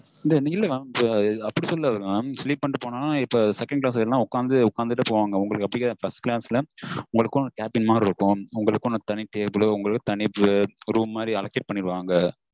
இந்த இல்ல mam அப்டி சொல்லல mam sleep பண்ணிட்டு போனா second class எல்லாம் உக்காந்து உக்காந்துட்டே போவாங்க உங்களுக்கு அப்டி கிடயாது first class ல cabin மாதிரி இருக்கும் உங்களுக்குனு தனி table தனி group மாதிரி allocate பண்ணிடுவாங்க